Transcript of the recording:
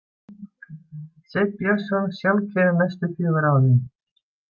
„Sveinn Björnsson sjálfkjörinn næstu fjögur árin.“